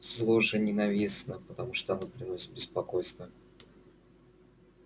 зло же ненавистно потому что оно приносит беспокойство опасность страдание